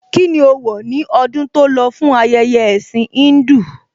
Kíni ó wọ̀ ní ọdún tó lọ fún ayẹyẹ ẹ̀ẹ̀sìn Híńdù?